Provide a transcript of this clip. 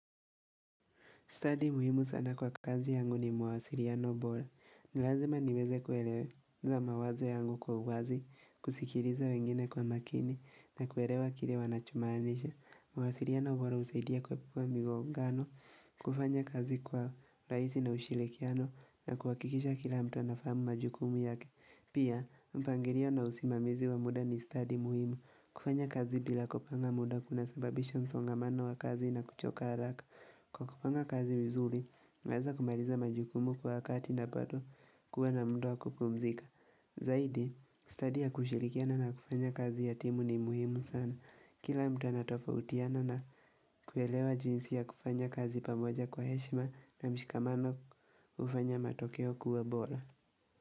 Study muhimu sana kwa kazi yangu ni mwasiliano bora. Nilazima niweze kueleza mawazo yangu kwa uwazi, kusikiliza wengine kwa makini, na kuelewa kile wanacho maanisha. Mwasiliano bora husaidia kuepuka migongano, kufanya kazi kwa urahisi na ushirikiano, na kuhakikisha kila mtu na fahamu majukumu yake. Pia, mpangilio na usimamizi wa muda ni study muhimu, kufanya kazi bila kupanga muda kuna sababisha msongamano wa kazi na kuchoka haraka. Kwa kupanga kazi vizuri, naweza kumaliza majukumu kwa wakati na badoo kuwa na mud waa kupumzika. Zaidi, study ya kushirikiana na kufanya kazi ya timu ni muhimu sana. Kila mtu anatofautiana na kuelewa jinsi ya kufanya kazi pamoja kwa heshima na mshikamano ufanya matokeo kuwa bora.